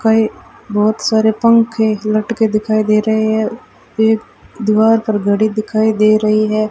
कई बहुत सारे पंखे लटके दिखाई दे रहे हैं एक दीवार पर घड़ी दिखाई दे रही है।